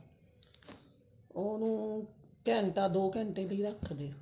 ਉਹਨੂੰ ਘੰਟਾ ਦੋ ਘੰਟੇ ਲਈ ਰੱਖ ਦਿਓ